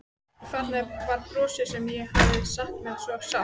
Og þarna var brosið sem ég hafði saknað svo sárt.